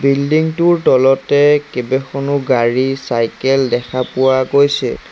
Building টোৰ তলতে কেবেখনো গাড়ী চাইকেল দেখা পোৱা গৈছে।